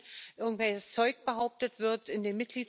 zijn. En we moeten samen aan de slag gaan over de hele waardeketen